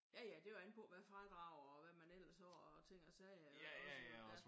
Ja ja det er jo an på hvad fradrag og hvad man ellers har af ting og sager iggås jo